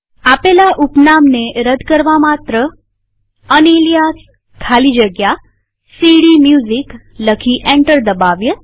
આપેલા ઉપનામને રદ કરવા માત્ર યુનાલિયાસ ખાલી જગ્યા સીડીમ્યુઝિક લખી એન્ટર દબાવીએ